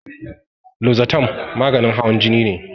Lozatan maganin hawan jini ne